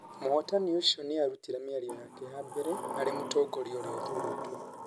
Mũhotani ũcio nĩ aarutire mĩario yake ya mbere arĩ mũtongoria ũrĩa ũthuurĩtwo.